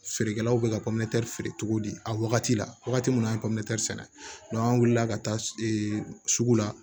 Feerekɛlaw bɛ ka feere cogo di a wagati la wagati minnu bɛ sɛnɛ an wulila ka taa sugu la